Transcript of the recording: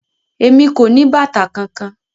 Emi ko ni bàtà kánkan.